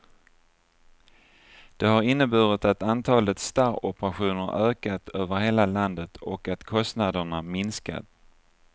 Det har inneburit att antalet starroperationer ökat över hela landet och att kostnaderna minskat.